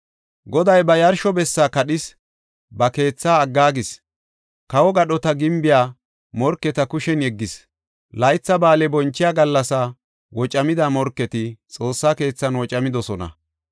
Goday ba yarsho bessa kadhis; ba keethaa aggaagis; kawo gadhota gimbiya morketa kushen yeggis. Laytha ba7aale bonchiya gallasa wocamada, morketi Xoossa keethan wocamidosona.